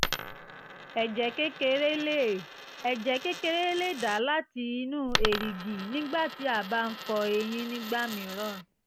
ẹ̀jẹ̀ kékeré lè ẹ̀jẹ̀ kékeré lè dà láti inú erìgì nígbà tí a bá ń fọ eyín nígbà mìíràn